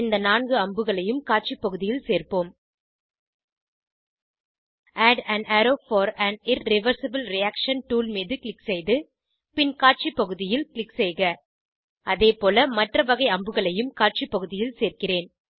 இந்த 4 அம்புகளையும் காட்சி பகுதியில் சேர்போம் add an arrow for an irreversible reaction tool மீது க்ளிக் செய்து பின் காட்சி பகுதியில் க்ளிக் செய்க அதேபோல மற்ற வகை அம்புகளையும் காட்சி பகுதியில் சேர்கிறேன்